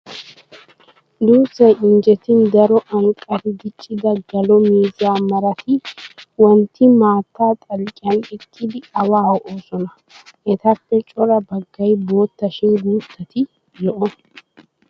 Duussay injjetin daro anqqari diccida galo miizza marati wontti maatta xalqqiyan eqqidi awaa ho'oosona. Etappe cora baggay bootta shin guuttati zo'o.